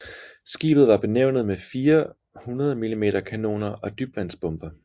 Skibet var bevæbnet med fire 100 mm kanoner og dybvandsbomber